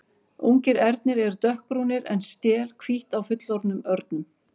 Ungir ernir eru dökkbrúnir en stél hvítt á fullorðnum örnum.